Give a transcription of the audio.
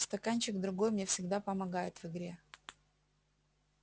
стаканчик другой мне всегда помогает в игре